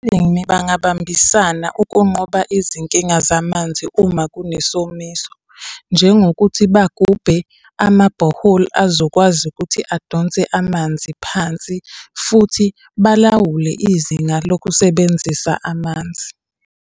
Abalimi bangabambisana ukunqoba izinkinga zamanzi uma kunesomiso. Njengokuthi bagubhe amabhoholi azokwazi ukuthi adonse amanzi phansi, futhi balawule izinga lokusebenzisa amanzi.